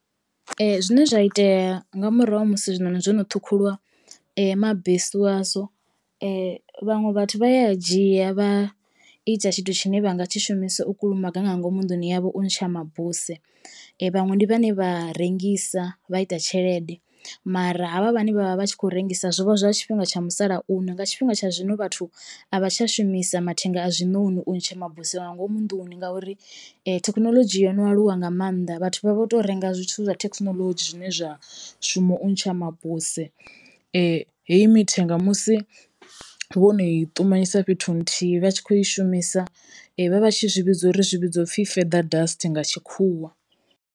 Zwine zwa itea nga murahu ha musi zwinoni zwono ṱhukhuliwa mabesu azwo vhaṅwe vhathu vha ya a dzhia vha ita tshithu tshine vhanga tshi shumisa u kulumaga nga ngomu nḓuni yavho u ntsha mabuse, vhaṅwe ndi vhane vha rengisa vha ita tshelede mara havha vhane vhavha vhatshi kho rengisa zwovha zwa tshifhinga tsha musalauno. Nga tshifhinga tsha zwino vhathu a vha tsha shumisa mathenga a zwiṋoni u ntsha mabuse nga ngomu nḓuni ngauri thekhinolodzhi yo no aluwa nga mannḓa vhathu vha vho to renga zwithu zwa thekinoḽodzhi zwine zwa mushumo u ntsha mabuse. Heyi mithenga musi vhono i ṱumanyisa fhethu huthihi vha tshi kho i shumisa vha vha tshi zwi vhidza uri zwi vhidzwa upfhi feather dust nga tshikhuwa.